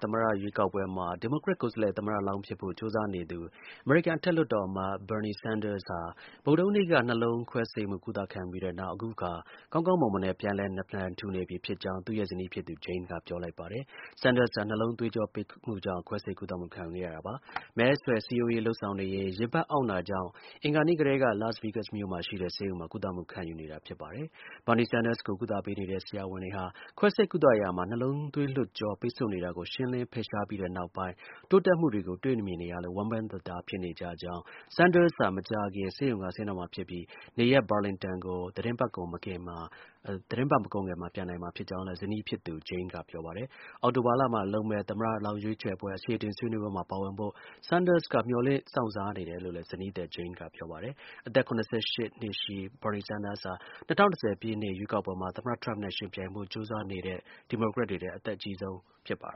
သမ္မတ ရွေးကောက်ပွဲမှာ ဒီမိုကရက် ကိုယ်စားလှယ် သမ္မတလောင်းဖြစ်ဖို့ ကြိုးစားနေသူ အမေရိကန် အထက်လွှတ်တော် အမတ် Bernie Sanders ဟာ ဗုဒ္ဓဟူးနေ့က နှလုံးသွေးကြောပိတ်ဆို့မှုကို ကုသခံယူခဲ့ပြီးနောက် အခုအခါ ကောင်းကောင်မွန်မွန်နဲ့ ပြန်လည် နာလန်ထူနေပြီဖြစ်ကြောင်း သူ့ရဲ့ ဇနီးဖြစ်သူ Jane က ပြောလိုက်ပါတယ်။ Sanders ဟာ နှလုံး သွေးကြောပိတ်မှုကြောင့် ခွဲစိတ် ကုသမှုခံယူခဲ့ရတာပါ။ မဲဆွယ် စည်းရုံးရေးလုပ်ဆောင်နေရင်း ရင်ဘတ်အောင့်တာကြောင့် အင်္ဂါနေ့ကတည်းက Las Vegas မြို့မှာ ရှိတဲ့ ဆေးရုံမှာ ကုသမှု ခံယူနေတာဖြစ်ပါတယ်။ Bernie Sanders ကို ကုသပေးနေတဲ့ ဆရာဝန်တွေဟာ ခွဲစိတ်ကုသရာမှာ နှလုံးသွေးလွှတ်ကြော ပိတ်ဆို့နေတာကို ရှင်းလင်း ဖယ်ရှားပြီးနောက်ပိုင်း တိုးတက်မှုတွေကို တွေ့မြင်နေရလို့ ဝမ်းပန်တသာ ဖြစ်နေကြကြောင်း၊ Sanders ဟာ မကြာခင် ဆေးရုံက ဆင်းတော့မှာ ဖြစ်ပြီး နေရပ် Burlington ကို သီတင်းပတ် မကုန်ခင် ပြန်နိုင်မှာဖြစ်ကြောင်းလည်း ဇနီးဖြစ်သူ Jane က ပြောပါတယ်။ အောက်တိုဘာမှာ လုပ်မယ့် သမ္မတလောင်းရွေးပွဲ အခြေအတင် ဆွေးနွေးပွဲမှာ ပါဝင်ဖို့ Sanders က မျှော်လင့်စောင့်စားနေတယ်လို့လည်း ဇနီးသည် Jane က ပြောပါတယ်။ အသက် ၇၈ နှစ်ရှိ Bernie Sanders ဟာ ၂၀၂၀ ပြည့်နှစ် ရွေးကောက်ပွဲမှာ သမ္မတ ထရမ့်နဲ့ ယှဉ်ပြိုင်ဖို့ ကြိုးစားနေတဲ့ ဒီမိုကရက်တွေထဲ အသက်အကြီးဆုံး ဖြစ်ပါ